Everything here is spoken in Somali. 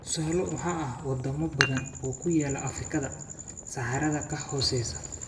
Tusaale waxaa ah wadamo badan oo ku yaala Afrikada Saxaraha ka hooseeya.